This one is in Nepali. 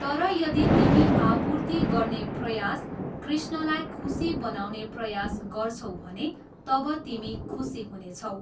तर यदि तिमी आपुर्ति गर्ने प्रयास, कृष्णलाई खुसी बनाउने प्रयास गर्छौ भने तब तिमी खुसी हुनेछौ।